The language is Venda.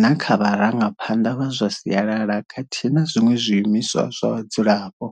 na kha vharangaphanḓa vha zwa sialala khathihi na zwiṅwe zwiimiswa zwa vhadzulapo.